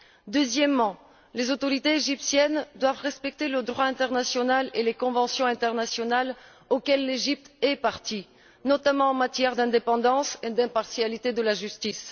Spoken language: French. Quant au deuxième message, les autorités égyptiennes doivent respecter le droit international et les conventions internationales auxquelles l'Égypte est partie, notamment en matière d'indépendance et d'impartialité de la justice.